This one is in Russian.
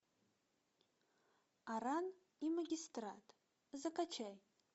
аран и магистрат закачай